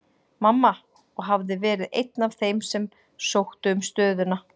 Mamma, og hafði verið einn af þeim sem sóttu um stöðuna.